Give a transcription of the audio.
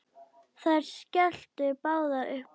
Þær skelltu báðar upp úr.